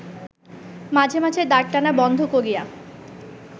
মাঝে মাঝে দাঁড়টানা বন্ধ করিয়া